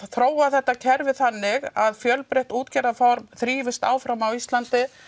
þróa þetta kerfi þannig að fjölbreytt útgerðaform þrífist áfram á Íslandi